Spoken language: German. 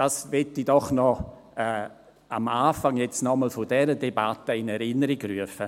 – Das möchte ich doch noch am Anfang dieser Debatte in Erinnerung rufen.